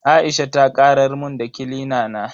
Aisha ta karar mun da kilina na.